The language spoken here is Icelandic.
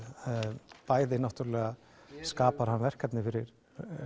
bæði skapar hann verkefni fyrir